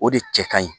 O de cɛ ka ɲi